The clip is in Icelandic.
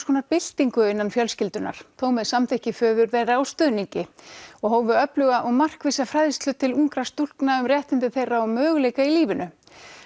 konar byltingu innan fjölskyldunnar þó með samþykki föður þeirra og stuðningi og hófu öfluga og markvissa fræðslu til ungra stúlkna um réttindi þeirra og möguleika í lífinu